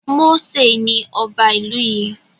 Mósè ni ọba ìlú yìí